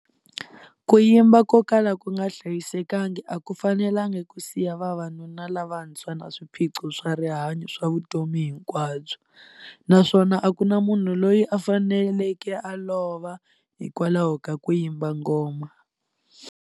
Ku yimba ko kala ku nga hlayisekanga a ku fanelanga ku siya vavanuna lavantshwa na swiphiqo swa rihanyu swa vutomi hinkwabyo, naswona a ku na munhu loyi a faneleke a lova hikwalaho ka ku yimba ngoma.